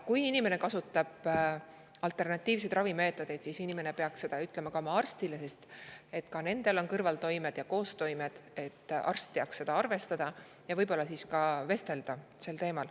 Kui inimene kasutab alternatiivseid ravimeetodeid, siis ta peaks seda ütlema ka oma arstile, sest ka nendel on kõrvaltoimed ja koostoimed, et arst teaks seda arvestada ja saaks võib-olla inimesega sel teemal ka vestelda.